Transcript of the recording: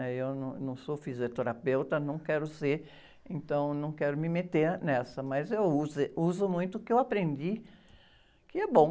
né? Eu não sou fisioterapeuta, não quero ser, então não quero me meter nessa, mas eu, uso muito o que eu aprendi, que é bom.